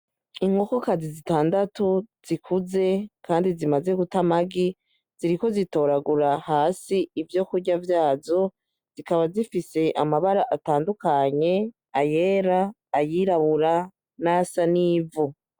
Inkokokazi zitandatu zikuze, kandi zimaze gutamagi ziriko zitoragura hasi ivyo kurya vyazo zikaba zifise amabara atandukanye ayera ayirabura nasa n'ivu.